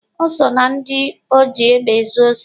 O so na ndị oji egbe ezu osi.